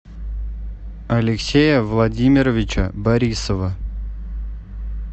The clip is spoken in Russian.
алексея владимировича борисова